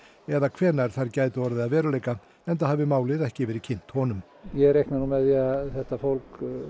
eða hvenær þær gætu orðið að veruleika enda hafi málið ekki verið kynnt honum ég reikna nú með því að þetta fólki